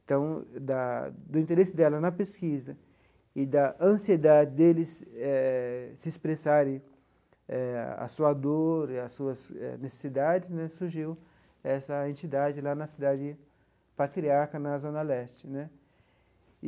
Então, da do interesse dela na pesquisa e da ansiedade deles eh se expressarem eh a sua dor e as suas necessidades né, surgiu essa entidade lá na Cidade Patriarca, na Zona Leste né.